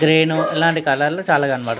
green ఇలాంటి colour లు చాల కనపడు --